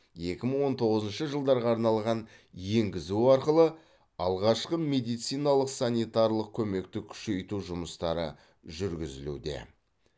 екі мың он тоғызыншы жылдарға арналған енгізу арқылы алғашқы медициналық санитарлық көмекті күшейту жұмыстары жүргізілуде